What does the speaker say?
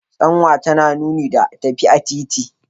Tsanwa tana nuni da tafi a titi.